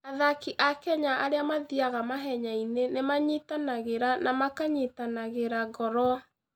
Andũ a Kenya arĩa mathiaga mahenya-inĩ nĩ manyitanagĩra na makanyitanagĩra ngoro.